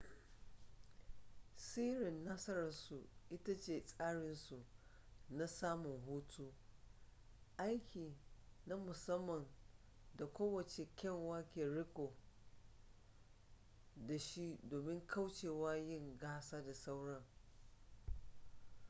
sirrin nasararsu ita ce tsarinsu na samun hutu aiki na musamman da kowace kyanwa ke riko da shi domin kaucewa yin gasa da sauran